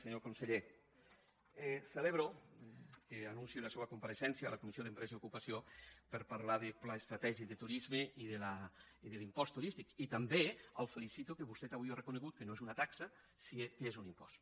senyor conseller celebro que anuncie la seua compareixença a la comissió d’empresa i ocupació per a parlar de pla estratègic de turisme i de l’impost turístic i també el felicito que vostè avui ha reconegut que no és una taxa que és un impost